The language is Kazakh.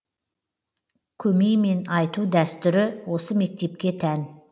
көмеймен айту дәстүрі осы мектепке тән